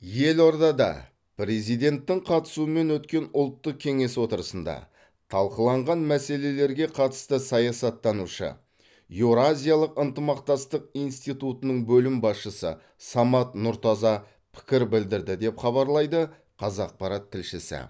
елордада президенттің қатысуымен өткен ұлттық кеңес отырысында талқыланған мәселелерге қатысты саясаттанушы еуразиялық ынтымақтастық институтының бөлім басшысы самат нұртаза пікір білдірді деп хабарлайды қазақпарат тілшісі